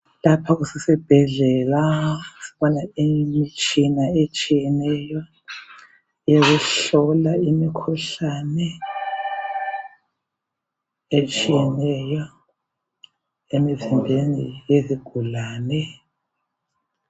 Lapha kusesibhedlela. Kukhona imitshina etshiyeneyo yokuhlola imikhuhlane etshiyeneyo emizimbeni yezigulane.